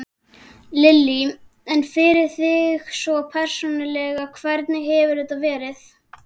Lillý: En fyrir þig svona persónulega, hvernig hefur þetta verið?